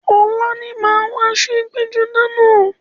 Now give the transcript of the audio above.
Ọ̀la ni màá wọ aṣọ ẹgbẹ́-jọdá náà.